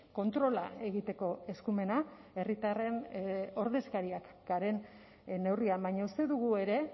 kontrola egiteko eskumena herritarren ordezkariak garen neurrian baina uste dugu ere